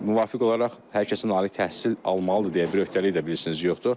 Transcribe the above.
Müvafiq olaraq hər kəsin ali təhsil almalıdır deyə bir öhdəlik də bilirsiniz yoxdur.